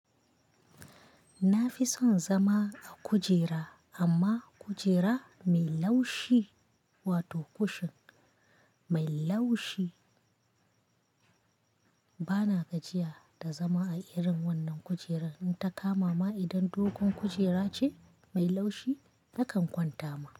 Na fi son zama a kujera, amma kujera mai laushi wato kushin mai laushi. Bana gajiya da zama a irin wannan kujerar. In ta kama ma idan dogon kujera ce mai laushi nakan kwanta ma.